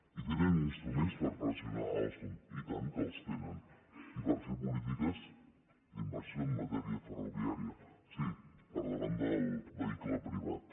i tenen instruments per pressionar alstom i tant que els tenen i per fer polítiques d’inversió en matèria ferroviària sí per davant del vehicle privat